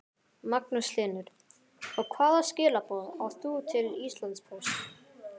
Magnús Hlynur: Og hvaða skilaboð átt þú til Íslandspóst?